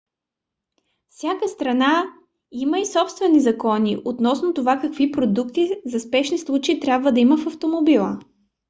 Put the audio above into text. всяка страна има и собствени закони относно това какви продукти за спешни случаи трябва да има в автомобила